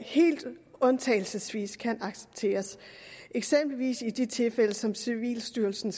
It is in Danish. helt undtagelsesvis kan accepteres eksempelvis i de tilfælde som civilstyrelsen